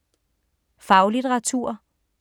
Faglitteratur